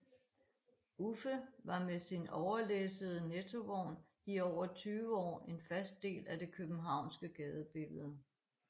Uffe var med sin overlæssede Nettovogn i over 20 år en fast del af det københavnske gadebillede